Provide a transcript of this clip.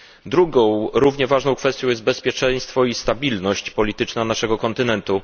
Drugą, równie ważną kwestią jest bezpieczeństwo i stabilność polityczna naszego kontynentu.